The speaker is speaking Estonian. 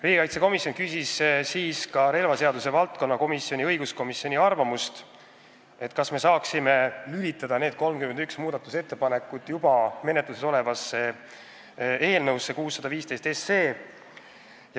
Riigikaitsekomisjon küsis siis ka relvaseaduse valdkonnakomisjoni ehk õiguskomisjoni arvamust, kas me saaksime need 31 muudatusettepanekut eelnõusse 615 lülitada.